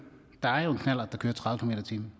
jo